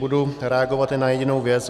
Budu reagovat jen na jedinou věc.